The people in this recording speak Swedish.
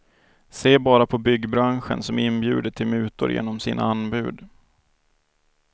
Se bara på byggbranschen som inbjuder till mutor genom sina anbud.